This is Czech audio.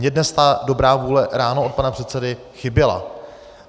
Mně dnes ta dobrá vůle ráno od pana předsedy chyběla.